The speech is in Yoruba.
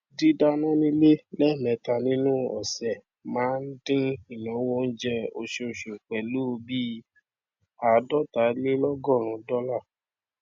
dídáná nílé lẹẹmẹta nínú ọsẹ máa n dín ináwó oúnjẹ oṣooṣù pẹlú bíi ààdọtalélọgọrùn dọlà